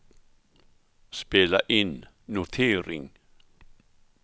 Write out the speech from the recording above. spela in notering